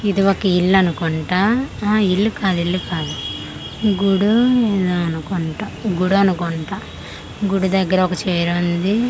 ఇది ఒక ఇల్లు అనుకుంటా ఆహ ఇల్లు కాదు ఇల్లు కాదు గుడో ఎదో అనుకుంటా గుడి అనుకుంటా గుడి దగ్గర ఒక చైర్ ఉంది అలాగే--